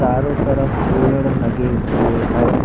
चारों तरफ पेड़ लगें हुए हैं।